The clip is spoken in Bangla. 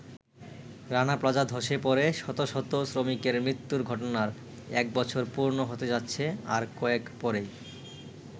রানা প্লাজা ধসে পড়ে শত শত শ্রমিকের মৃত্যুর ঘটনার এক বছর পূর্ণ হতে যাচ্ছে আর কয়েক পরেই।